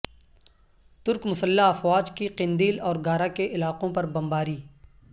ترک مسلح افواج کی قندیل اور گارا کے علاقوں پر بمباری